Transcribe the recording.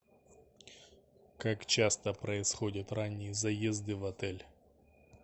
как часто происходят ранние заезды в отель